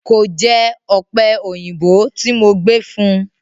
Kò jẹ ọ̀pẹ òyìnbó tí mo gbé fún un.